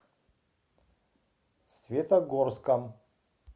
светогорском